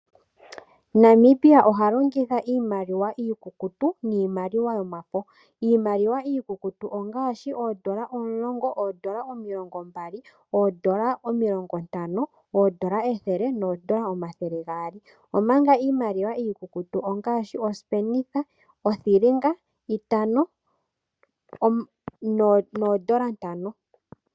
Namibia oha longitha iimaliwa iikukutu niimaliwa yomafo. Iimaliwa yomafo ongaashi oondola omulongo, oondola omilongombali, oondola omilongontano, oondola ethele noondola omathele gaali, omanga iimaliwa iikukutu ongaashi iisipenitha,, oothilinga, itano noondola ntano.